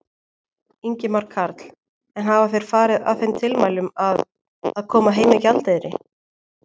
Ingimar Karl: En hafa þeir farið að þeim tilmælum að, að, koma heim með gjaldeyri?